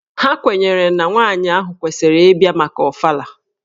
Ha kwenyere na nwaanyị ahụ kwesịrị ịbịa maka Ọfala.